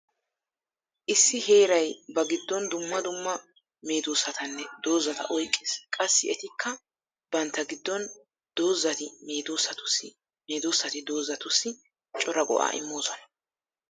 Issi heeray ba giddon dumma dumma meedosatanne doozata oyqqees. Qassi etikka bantta giddon doozati meedosatussi meedoosati doozatussi cora go'aa immoosoan.